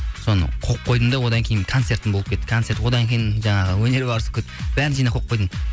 соны қойып қойдым да одан кейін концертім болып кетті концерт одан кейін жаңағы өнер барысы болып кетті бәрін жинап қойып қойдым